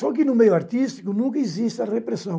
Só que no meio artístico nunca existe a repressão.